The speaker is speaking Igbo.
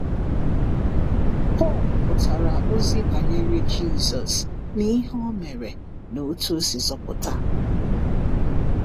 Pọl pụtara ozi banyere Jisọs na ihe Ọ mere na otú Ọ si zọpụta.